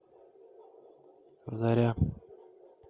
заря